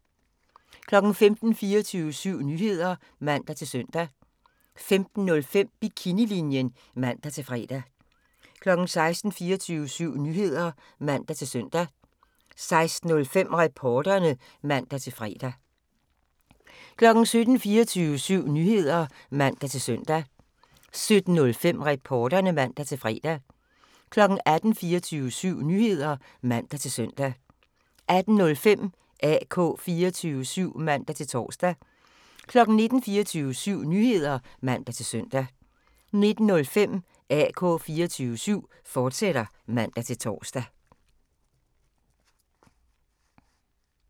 15:00: 24syv Nyheder (man-søn) 15:05: Bikinilinjen (man-fre) 16:00: 24syv Nyheder (man-søn) 16:05: Reporterne (man-fre) 17:00: 24syv Nyheder (man-søn) 17:05: Reporterne (man-fre) 18:00: 24syv Nyheder (man-søn) 18:05: AK 24syv (man-tor) 19:00: 24syv Nyheder (man-søn) 19:05: AK 24syv, fortsat (man-tor)